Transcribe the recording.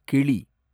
கிளி